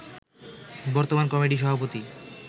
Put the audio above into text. বর্তমান কমিটির সভাপতি